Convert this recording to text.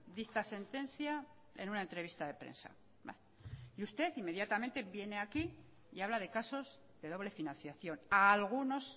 dicta sentencia en una entrevista de prensa y usted inmediatamente viene aquí y habla de casos de doble financiación a algunos